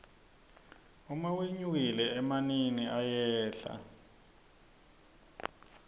uma wenyukile emanini ayehla